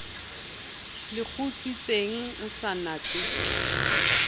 le kgutsitseng o sa natse